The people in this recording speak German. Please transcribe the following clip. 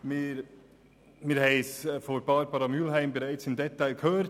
Wir haben es von Barbara Mühlheim bereits im Detail gehört: